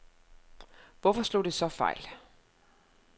Hvorfor slog det så fejl?